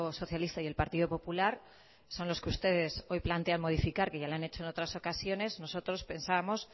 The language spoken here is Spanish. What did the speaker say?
socialista y el partido popular son los que ustedes hoy plantean modificar que ya lo han hecho en otras ocasiones nosotros pensábamos